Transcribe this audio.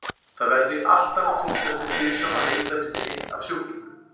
Það verður því alltaf að túlkast með hliðsjón af heildarmyndinni af sjúklingnum.